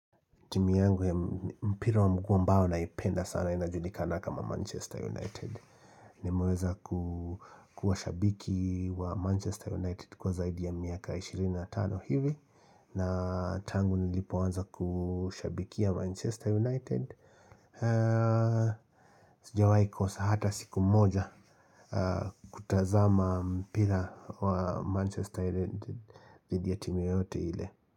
Timu yangu ya mpira wa mguu ambao naipenda sana inajulikana kama Manchester United. Nimeweza kukuwa shabiki wa Manchester United kwa zaidi ya miaka 25 hivi. Na tangu nilipoanza kushabikia Manchester United. Sijawai kosa hata siku moja kutazama mpira wa Manchester United dhidi ya timu yoyote ile.